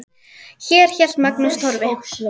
Þar hélt Magnús Torfi